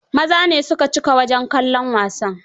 Maza ne su ka cika wajen kallon wasan.